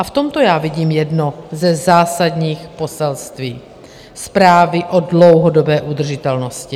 A v tomto já vidím jedno ze zásadních poselství zprávy o dlouhodobé udržitelnosti.